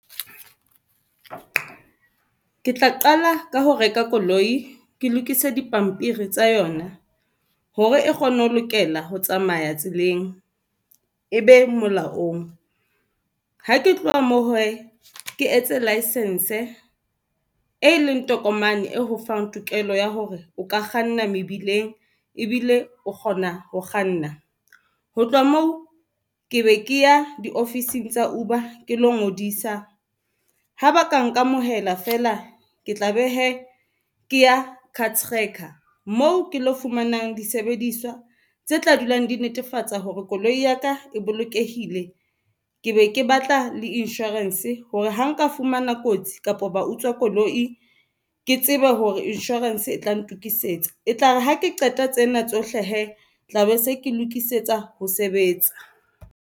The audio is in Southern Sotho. Ke tla qala ka ho reka koloi ke lokise dipampiri tsa yona hore e kgone ho lokela ho tsamaya tseleng e be molaong. Ha ke tloha moo hee ke etse licence, e leng tokomane e ho fang tokelo ya hore o ka kganna mebileng ebile o kgona ho kganna. Ho tloha moo ke be ke ya di ofising tsa Uber ke lo ngodisa ha ba ka nkamohela fela, ke tla be hee ke ya card tracker moo ke lo fumanang disebediswa tse tla dulang di netefatsa hore koloi ya ka e bolokehile. Ke be ke batla le insurance hore ha nka fumana kotsi kapo ba utswa koloi ke tsebe hore insurance e tla ntokisetsa e tlare ha ke qeta tsena tsohle hee tlabe se ke lokisetsa ho sebetsa.